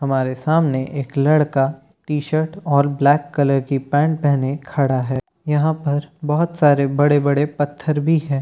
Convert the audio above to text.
हमारे सामने एक लड़का टीशर्ट और ब्लैक कलर की पैंट पहने खड़ा है यहां पर बहुत सारे बड़े बड़े पत्थर भी है।